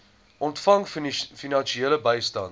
ontvang finansiële bystand